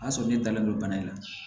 O y'a sɔrɔ ne dalen don bana in na